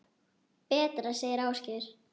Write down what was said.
Betra, segir Ásgeir.